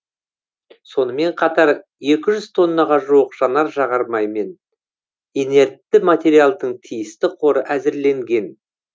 сонымен қатар екі жүз тоннаға жуық жанар жағармай мен инертті материалдың тиісті қоры әзірленген